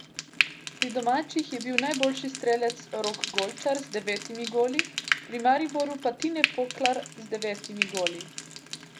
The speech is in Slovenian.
Pri domačih je bil najboljši strelec Rok Golčar z devetimi goli, pri Mariboru pa Tine Poklar z devetimi goli.